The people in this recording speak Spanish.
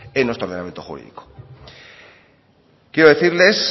en nuestro ordenamiento jurídico quiero decirles